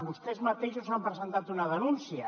vostès mateixos han presentat una denúncia